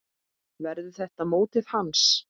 Verður þetta mótið hans?